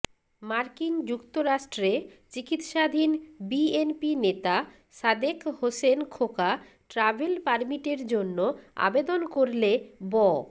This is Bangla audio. মার্কিন যুক্তরাষ্ট্রে চিকিৎসাধীন বিএনপি নেতা সাদেক হোসেন খোকা ট্রাভেল পারমিটের জন্য আবেদন করলে ব্